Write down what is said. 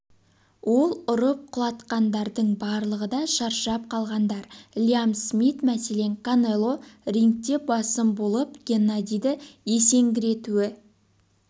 ол ұрып құлатқандардың барлығы да шаршап қалғандар лиам смит мәселен канело рингте басым болып геннадийді есеңгіретуі